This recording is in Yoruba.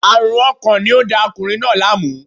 Aarun ọkàn ni o n da ọkunrin naa laamu